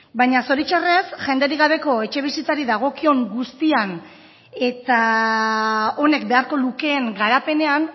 baina zoritxarrez jenderik gabeko etxebizitzari dagokion guztian eta honek beharko lukeen garapenean